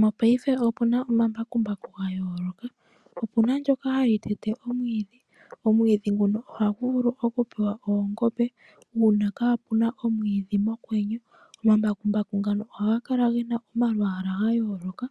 Mongashingeyi opuna omambakumbaku ga yooloka . Opuna ndyoka hali tete omwiidhi. Omwiidhi nguno ohagu vulu pewa oongombe uuna kapuna omwiidhi mokwenye. Omambakumbaku ngano oha ga kala gena omalwaala ga yooloka